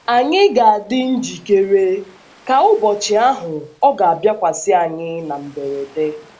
Ànyị ga - adị njikere,, ka ụbọchị ahụ ọ̀ ga - abịakwasị anyị na mberede?